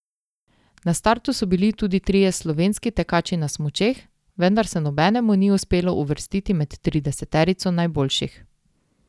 Na startu so bili tudi trije slovenski tekači na smučeh, vendar se nobenemu ni uspelo uvrstiti med trideseterico najboljših.